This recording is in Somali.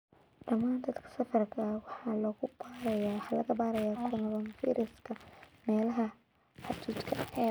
Dhammaan dadka safarka ah waxaa laga baarayaa coronavirus-ka meelaha xuduudka ah.